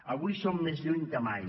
avui som més lluny que mai